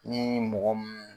Ne ni mɔgɔ mun.